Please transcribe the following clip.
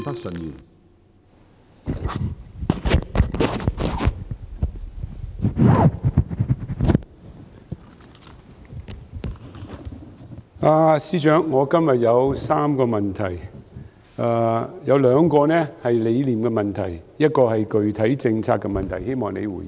司長，我今天有3個問題，有兩個是理念問題，一個是具體政策問題，希望你回應。